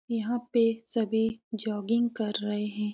यहाँ पे सभी जोगिंग कर रहे हैं।